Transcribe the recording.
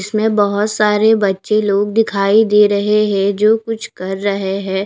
इसमें बहुत सारे बच्चे लोग दिखाई दे रहे है जो कुछ कर रहे है।